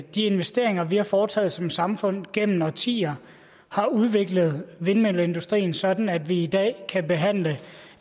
de investeringer vi har foretaget som samfund gennem årtier har udviklet vindmølleindustrien sådan at vi i dag kan behandle